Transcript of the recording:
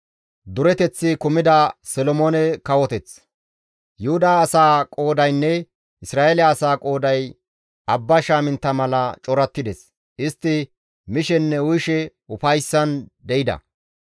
Yuhuda asaa qoodaynne Isra7eele asaa qooday abba shaamintta mala corattides; istti mishenne uyishe ufayssan de7ida.